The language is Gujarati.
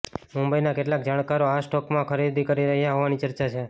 મુંબઈના કેટલાક જાણકારો આ સ્ટોકમાં ખરીદી કરી રહ્યા હોવાની ચર્ચા છે